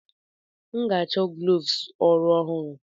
M ga-achọ gloves ọrụ ọhụrụ.